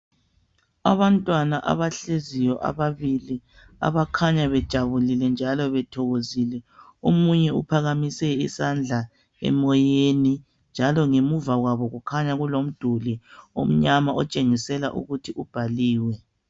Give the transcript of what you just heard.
abantwana abahleziyo ababili abakhanya bejabulile njalo bethokozile omunye uphakamise isandla emoyeni njalo emuva kwabo kukhanya kulomduli omnyama otshengisela ukuthi ubhaliwe